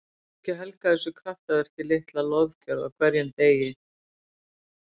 Að maður skuli ekki helga þessu kraftaverki litla lofgjörð á hverjum degi.